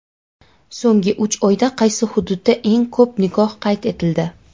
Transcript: So‘nggi uch oyda qaysi hududda eng ko‘p nikoh qayd etildi?.